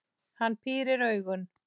Hann pírir augun.